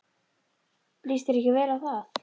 Líst þér ekki vel á það?